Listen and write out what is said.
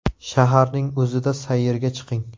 Shaharning o‘zida sayrga chiqing.